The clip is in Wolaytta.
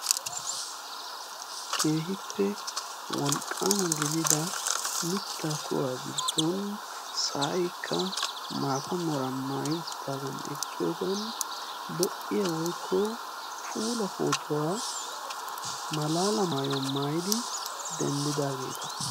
Keehippe wolqqaama gidida mittaa kuwaa giddon sa"aykka maata meeraa maayaagan eqqiyoogan lo"iyaa woykko puula pootuwaa malaala maayuwa maayidi denddidaageeta.